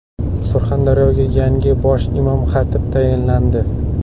Surxondaryoga yangi bosh imom-xatib tayinlandi.